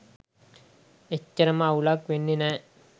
එච්චරම අවුලක් වෙන්නෙ නෑ.